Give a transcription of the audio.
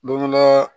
Don dɔ